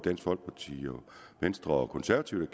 venstre og konservative